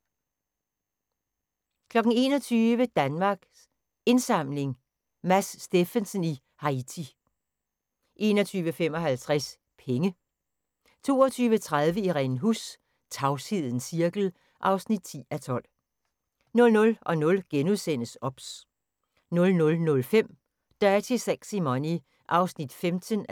21:00: Danmarks Indsamling – Mads Steffensen i Haiti 21:55: Penge 22:30: Irene Huss: Tavshedens cirkel (10:12) 00:00: OBS * 00:05: Dirty Sexy Money (15:23)